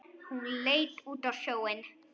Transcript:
Hann leit út á sjóinn.